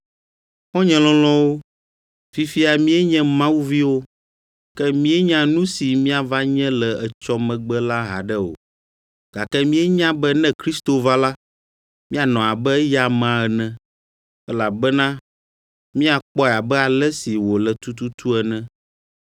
Xɔ̃nye lɔlɔ̃wo, fifia míenye Mawu viwo, ke míenya nu si míava nye le etsɔ megbe la haɖe o. Gake míenya be ne Kristo va la, míanɔ abe eya amea ene, elabena míakpɔe abe ale si wòle tututu ene.